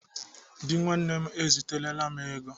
Dị nwanne m eziterela m ego.